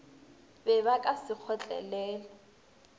be ba ka se kgotlelele